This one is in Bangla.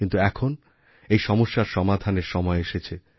কিন্তু এখন এই সমস্যার সমাধানের সময় এসেছে